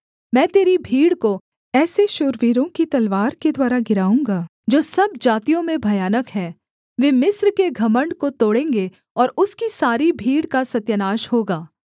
मैं तेरी भीड़ को ऐसे शूरवीरों की तलवारों के द्वारा गिराऊँगा जो सब जातियों में भयानक हैं वे मिस्र के घमण्ड को तोड़ेंगे और उसकी सारी भीड़ का सत्यानाश होगा